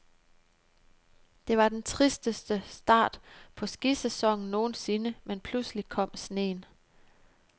Det var den tristeste start på skisæsonen nogensinde, men pludselig kom sneen.